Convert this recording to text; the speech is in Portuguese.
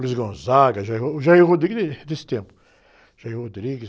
Luiz Gonzaga, Jair, o Jair Rodrigues é desse tempo. Jair Rodrigues...